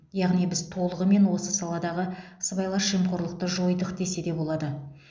яғни біз толығымен осы саладағы сыбайлас жемқорлықты жойдық десе де болады